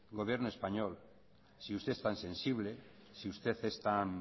gobierno español si usted es tan sensible si usted es tan